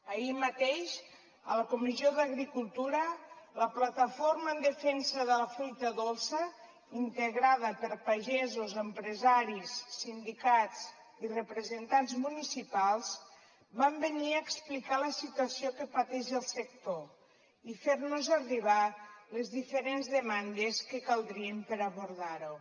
ahir mateix a la comissió d’agricultura la plataforma en defensa de la fruita dolça integrada per pagesos empresaris sindicats i representants municipals van venir a explicar la situació que pateix el sector i a fer nos arribar les diferents demandes que caldrien per abordar ho